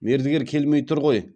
мердігер келмей тұр ғой